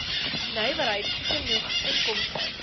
nywerheid genoeg inkomste